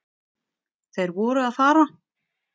Þeir voru að fara.